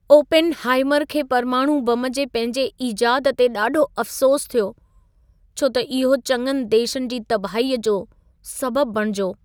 Oppenheimer खे परमाणू बम जे पंहिंजे इजादु ते ॾाढो अफ़सोसु थियो। छो त इहो चङनि देशनि जी तबाहीअ जो सबबु बणिजो।